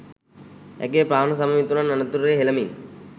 ඇගේ ප්‍රාණ සම මිතුරන් අනතුරේ හෙළමින්.